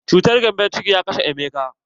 Cutar gembon ciki na ya kashe Emeka.